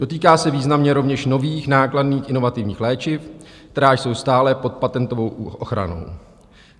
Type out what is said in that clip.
Dotýká se významně rovněž nových nákladných inovativních léčiv, která jsou stále pod patentovou ochranou.